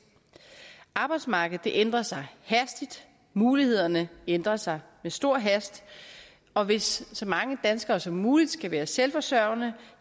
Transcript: arbejdsmarkedet ændrer sig hastigt mulighederne ændrer sig med stor hast og hvis så mange danskere som muligt skal være selvforsørgende